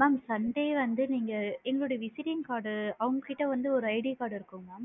mam sunday வந்து நீங்க எங்களுடைய visiting card டு அவுங்க கிட்ட ஒரு ID card இருக்கும் madam